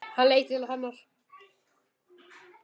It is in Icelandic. Hann leit til hennar.